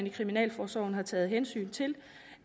i kriminalforsorgen har taget hensyn til